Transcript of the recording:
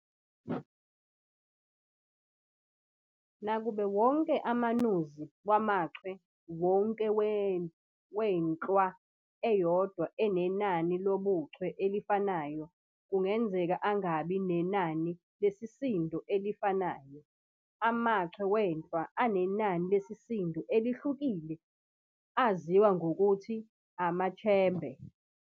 Nakuba wonke amanuzi wamachwe wonke wenhlwa eyodwa anenani lobuchwe elifanayo, kungenzeka angabi nenani lesisindo elifanayo, amachwe wenhlwa anenani lesisindo elihlukile aziwa ngokuthi amaChembe.